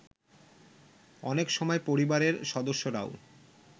অনেক সময় পরিবারের সদস্যরাও